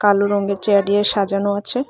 কালো রঙ্গের চেয়ার ডিয়ে সাজানো আছে।